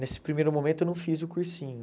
Nesse primeiro momento eu não fiz o cursinho.